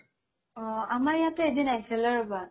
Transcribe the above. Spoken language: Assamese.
অ আমাৰ ইয়াতে এদিন আহিছিলে ৰবা